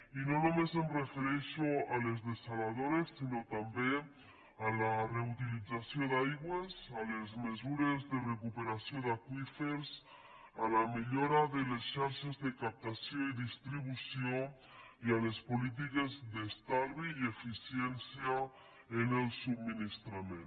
i no només em refereixo a les dessaladores sinó també a la reutilització d’aigües a les mesures de recuperació d’aqüífers a la millora de les xarxes de captació i distribució i a les polítiques d’estalvi i eficiència en el subministrament